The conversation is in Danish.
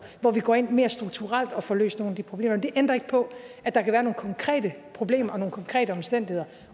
hvor vi går ind mere strukturelt og får løst nogle af de problemer men det ændrer ikke på at der kan være nogle konkrete problemer og nogle konkrete omstændigheder